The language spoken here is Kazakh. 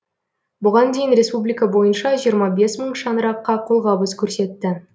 бұған дейін республика бойынша жиырма бес мың шаңыраққа қолғабыс көрсетті